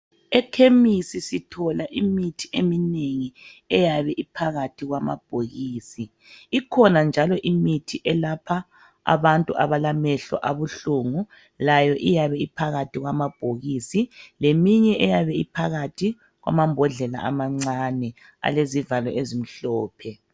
Ekhemisi sithola imithi eminengi eyabe iphakathi kwamabhokisi ikhona njalo imithi elapha abantu abalamehlo abuhlungu layo iyabe iphakathi kwamabhokisi leminye eyabe iphakathi kwamambodlela amancane alezivalo ezimhlophe